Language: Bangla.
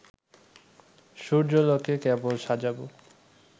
সূর্যালোকে কেবল সাজাবো